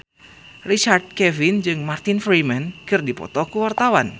Richard Kevin jeung Martin Freeman keur dipoto ku wartawan